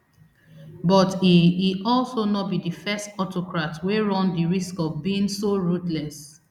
but e e also no be di first autocrat wey run di risk of being so ruthless